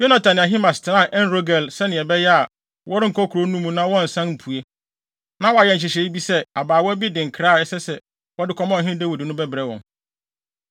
Yonatan ne Ahimaas tenaa En-Rogel, sɛnea ɛbɛyɛ a, wɔrenkɔ kurow no mu na wɔnnsan mpue. Na wɔayɛ nhyehyɛe bi sɛ abaawa bi de nkra a ɛsɛ sɛ wɔde kɔma ɔhene Dawid no bɛbrɛ wɔn.